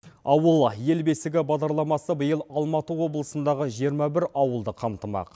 ауыл ел бесігі бағдарламасы биыл алматы облысындағы жиырма бір ауылды қамтымақ